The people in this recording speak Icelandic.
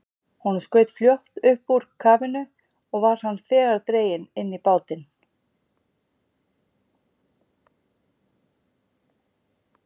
Honum skaut fljótt upp úr kafinu, og var hann þegar dreginn inn í bátinn.